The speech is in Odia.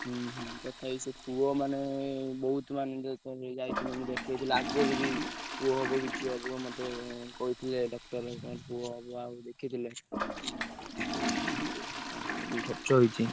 ହୁଁ ହୁଁ ତଥାପି ସେ ପୁଅ ମାନେ ବୋହୁତ ମାନେ ମୁଁ ଯାଇଥିଲି ଆଗରୁ ବି ପୁଅ ହବ କି ଝିଅ ହବ କହିଥିଲେ ଡକ୍ଟର ଉଅ ହବ ଦେଖିଥିଲେ ଖର୍ଚ୍ଚ ହେଇଛି।